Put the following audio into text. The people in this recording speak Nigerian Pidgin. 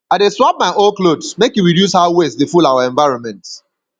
i dey swap my old clothes make e reduce how waste dey full our environment